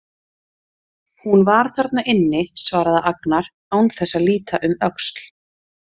Hún var þarna inni, svaraði Agnar án þess að líta um öxl.